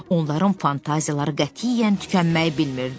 Onların fantaziyaları qətiyyən tükənməyi bilmirdi.